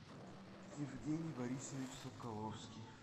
евгений борисович соколовский